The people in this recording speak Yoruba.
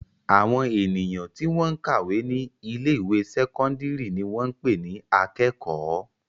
Àwọn ènìyàn tí wọ́n ń kàwé ní ilé-ìwé sẹ́kọ́ndárì ni wọ́n ń pè ní akẹ́kọ̀ọ́.